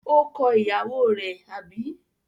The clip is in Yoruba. Ó kọ ìyàwó rẹ̀, àbí?